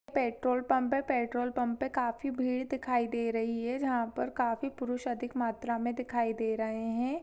Petrol pump है petrol pump पे काफी भीड़ दिखाई दे रही है जहाँ पर काफी पुरुष अधिक मात्रा मे दिखाई दे रहे है।